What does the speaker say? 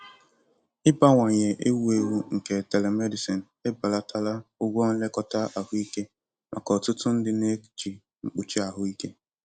Ịbawanye ewu ewu nke telemedicine ebelatala ụgwọ nlekọta ahụike maka ọtụtụ ndị na-eji mkpuchi ahụike.